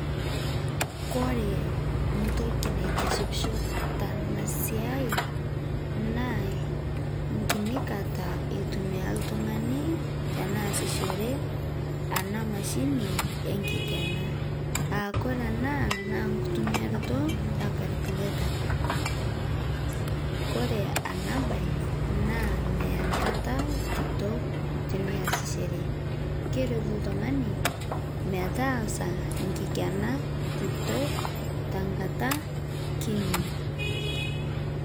Kore ntoki naitishipisho tana siai naa nkini kataa eitumia ltung'ani teneasishee ana mashinii enkikenaa aakore ana naa nkutumiaroto e calculator, kore ana bai naa meyaa nkataa kitok tiniasisheree keretu ltung'ani metaasa nkikena kitok tenkata kinii.